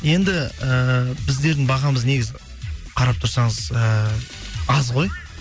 енді ііі біздердің бағамыз негізі қарап тұрсаңыз ііі аз ғой